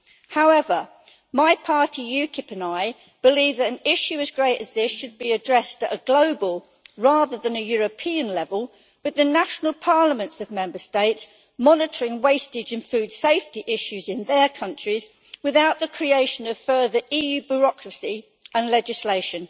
However, my party UKIP and I believe that an issue as great as this should be addressed at a global rather than a European level with the national parliaments of Member States monitoring wastage and food safety issues in their countries without the creation of further EU bureaucracy and legislation.